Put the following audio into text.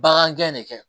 Bagan gɛn de kɛ